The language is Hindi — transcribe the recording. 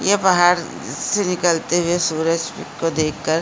ये बाहर से निकलते हुए सूरज को देखकर --